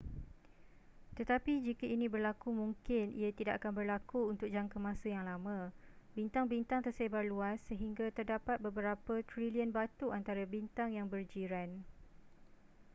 tetapi jika ini berlaku mungkin ia tidak akan berlaku untuk jangka masa yang lama bintang-bintang tersebar luas sehingga terdapat beberapa trilion batu antara bintang yang berjiran